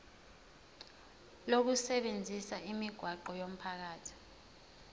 lokusebenzisa imigwaqo yomphakathi